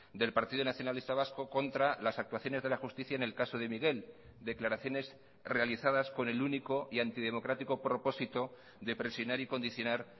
del partido nacionalista vasco contra las actuaciones de la justicia en el caso de miguel declaraciones realizadas con el único y antidemocrático propósito de presionar y condicionar